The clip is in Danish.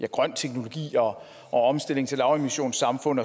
grøn teknologi og omstilling til lavemissionssamfund